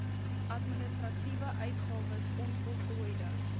administratiewe uitgawes onvoltooide